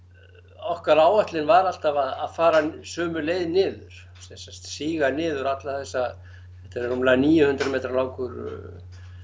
okkar áætlun var alltaf að fara sömu leið niður sem sagt síga niður alla þessa þetta er rúmlega níu hundruð metra langur